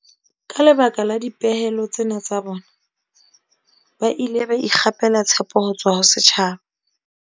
Ka lebaka la dipehelo tsena tsa bona, ba ile ba ikgapela tshepo ho tswa ho setjhaba.